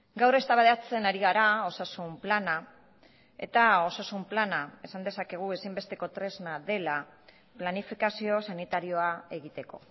gaur eztabaidatzen ari gara osasun plana eta osasun plana esan dezakegu ezinbesteko tresna dela planifikazio sanitarioa egiteko